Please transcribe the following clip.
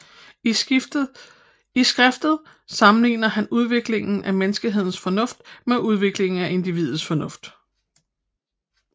I skriftet sammenligner han udviklingen af menneskehedens fornuft med udviklingen af individets fornuft